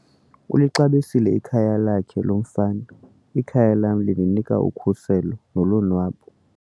Ulixabisile ikhaya lakhe lo mfana. ikhaya lam lindinika ukhuseleko nolonwabo